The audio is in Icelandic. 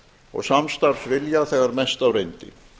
og samstarfsvilja þegar mest á reyndi